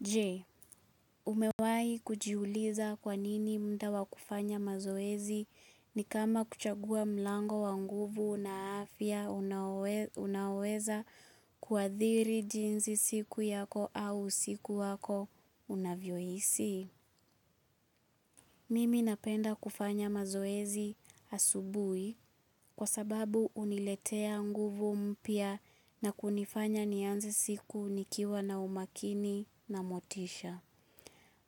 Je, umewai kujiuliza kwa nini mda wa kufanya mazoezi ni kama kuchagua mlango wa nguvu na afya unaoweza kuadhiri jinsi siku yako au usiku wako unavyoisi. Mimi napenda kufanya mazoezi asubuhi kwa sababu uniletea nguvu mpya na kunifanya nianze siku nikiwa na umakini na motisha.